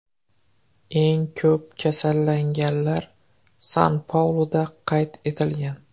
Eng ko‘p kasallanganlar San-Pauluda qayd etilgan.